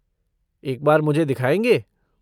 एक बार मुझे दिखाएँगे?